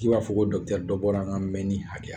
K'i b'a fɔ ko dɔ bɔra an ka mɛnni hakɛya la.